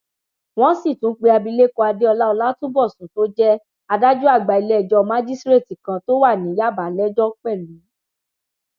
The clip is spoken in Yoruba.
wọn sì tún pe abilékọ adéọlá ọlátúnbọsùn tó jẹ adájọ àgbà iléẹjọ májísreetí kan tó wà ní yàbà lẹjọ pẹlú